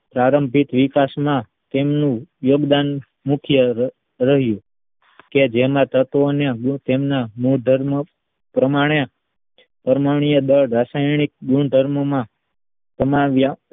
પ્રારંભિક વિકાસમા તેમનું યોગદાન મુખ્ય રહ્યું કે જેના તત્વને તેના ગુણધર્મો પ્રમાણે પરમાણ્વીય દળ રાસાયણિક ગુણધર્મોના સમાવ્યા